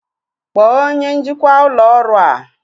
Kpọọ onye njikwa ụlọ ọrụ a!